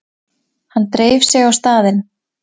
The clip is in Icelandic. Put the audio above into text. Hann dreif sig á staðinn.